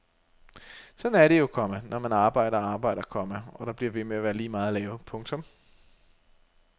Sådan er det jo, komma når man arbejder og arbejder, komma og der bliver ved med at være lige meget at lave. punktum